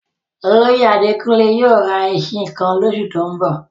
Olóyè Àdékúnlé yóò rá èṣin kan lọsù tó n bọ̀?